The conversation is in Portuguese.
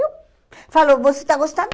Eu falo, você está gostando?